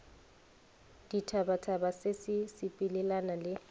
ditphabatphaba se se sepelelana le